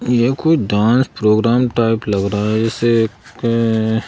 ये कोई dance programme type लग रहा है ऐसे?--